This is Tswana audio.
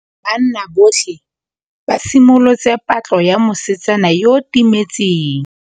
Banna botlhê ba simolotse patlô ya mosetsana yo o timetseng.